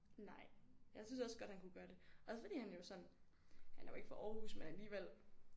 Nej jeg synes også godt han kunne gøre det også fordi han jo sådan han er jo ikke fra Aarhus men alligevel